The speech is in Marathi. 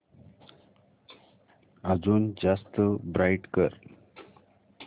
अजून जास्त ब्राईट कर